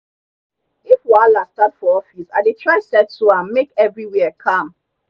if wahala start for office i dey try settle am make everywhere calm.